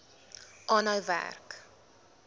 aanhou werk